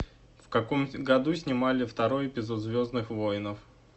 в каком году снимали второй эпизод звездных воинов